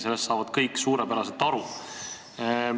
Sellest saavad kõik suurepäraselt aru.